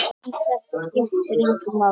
En þetta skiptir engu máli.